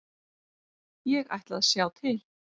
Ég ætla að sjá til.